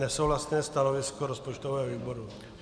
Nesouhlasné stanovisko rozpočtového výboru.